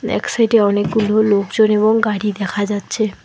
এক সাইডে অনেকগুলো লোকজন এবং গাড়ি দেখা যাচ্ছে।